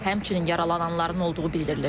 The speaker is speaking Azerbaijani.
Həmçinin yaralananların olduğu bildirilir.